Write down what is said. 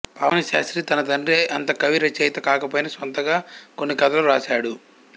పావని శాస్త్రి తన తండ్రి అంత కవిరచయిత కాకపోయినా స్వంతంగా కొన్ని కథలు వ్రాశాడు